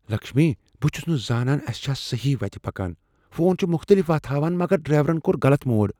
لکشمی، بہٕ چھُس نہٕ زانان اسہِ چھا صحیٖح وتہ پكان ۔ فون چھ مختٔلف وتھ ہاوان مگر ڈرائیورن كو٘ر غلط موڑ ۔